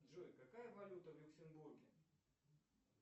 джой какая валюта в люксембурге